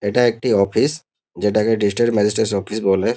এটা একটি অফিস যেটাকে ডিস্ট্রিক্ট ম্যাজিস্ট্রেট অফিস বলে।